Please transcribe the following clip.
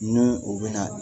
N'u u be na